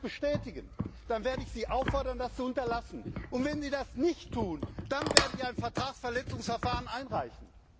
Wenn die das bestätigen, dann werde ich sie auffordern, das zu unterlassen, und wenn sie das nicht tun, dann werden wir ein Vertragsverletzungsverfahren einleiten.